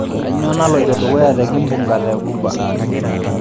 kanyoo naloito dukuya te kimbunga te ghuba